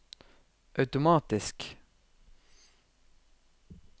automatisk